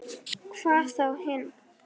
Hvað þá hinn.